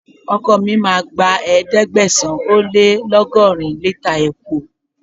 Ọkọ̀ mi máa gba ẹ̀ẹ́dẹ́gbẹ̀sán - ó - lé - lọ́gọ́rin lítà epo.